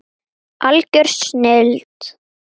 Algjör snilld.